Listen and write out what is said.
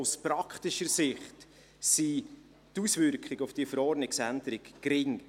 Aus praktischer Sicht sind die Auswirkungen dieser Verordnungsänderung gering.